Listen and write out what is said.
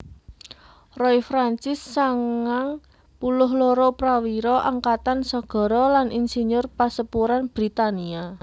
Roy Francis sangang puluh loro prawira angkatan sagara lan insiyur pasepuran Britania